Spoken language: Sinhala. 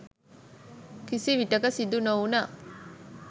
කිසිවිටක සිදු නොවුණා.